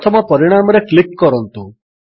ପ୍ରଥମ ପରିଣାମରେ କ୍ଲିକ୍ କରନ୍ତୁ